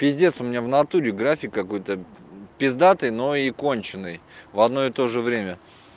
пиздец у меня в натуре график какой-то пиздатый но и конченый в одно и тоже время